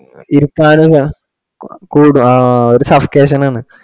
ഇരിക്കാന് എങ്ങ കു കൂടോ ആ ഒരു subscassion ആണ്